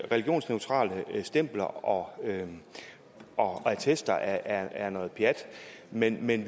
religionsneutrale stempler og og attester er er noget pjat men men